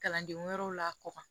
Kalanden wɛrɛw la kɔkɔ